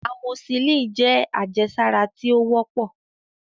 Amoxicillin jẹ́ àjẹsára tí ó wọ́pọ̀